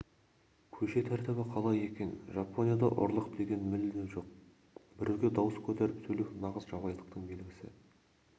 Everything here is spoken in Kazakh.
көше тәртібі қалай екен жапонияда ұрлық деген мүлде жоқ біреуге дауыс көтеріп сөйлеу нағыз жабайылықтың белгісі